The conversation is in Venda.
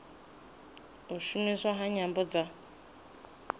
u shumiswa ha nyambo dza